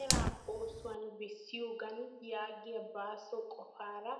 Eraa oosuwan bessiyooga yaagiya baaso qopaara